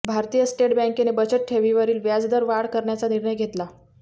भारतीय स्टेट बँकेने बचत ठेवीवरील व्याजदरात वाढ करण्याचा निर्णय घेतला